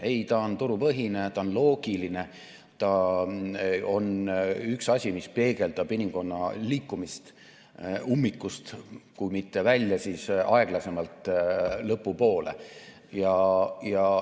Ei, ta on turupõhine, ta on loogiline, ta on üks asi, mis peegeldab inimkonna liikumist kui mitte ummikust välja, siis aeglasemalt lõpu poole.